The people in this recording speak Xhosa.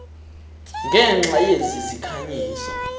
ngenxa yezi zikhanyiso